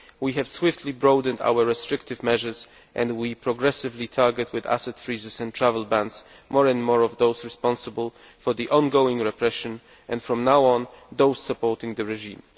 We have swiftly broadened our restrictive measures and are progressively targeting, with asset freezes and travel bans, more and more of those responsible for the ongoing repression and, from now on, those supporting the regime.